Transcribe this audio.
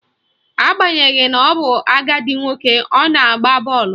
Agbanyeghi na ọ bụ agadi nwoke, ọ na-agba bọọlụ